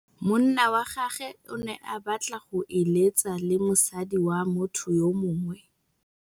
Monna wa gagwe o ne a batla go êlêtsa le mosadi wa motho yo mongwe.